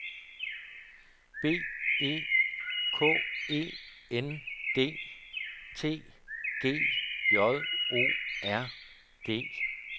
B E K E N D T G J O R D E